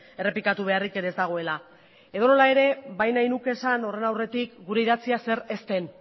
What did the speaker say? errepikatu beharrik ere ez dagoela edonola ere bai nahi nuke esan horren aurretik gure idatzia zer ez den